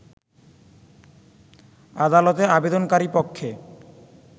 আদালতে আবেদনকারী পক্ষে